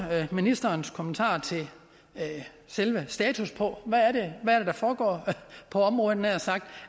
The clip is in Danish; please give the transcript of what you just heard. ministerens kommentarer til selve status på hvad det er der foregår på området nær sagt